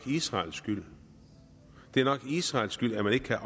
israels skyld det er nok israels skyld at man ikke kan